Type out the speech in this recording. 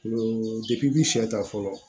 i bi sɛ ta fɔlɔ